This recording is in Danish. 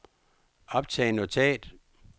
optag notat